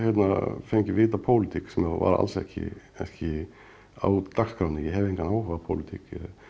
fengið vit á pólitík sem var alls ekki kannski á dagskránni ég hef engan áhuga á pólitík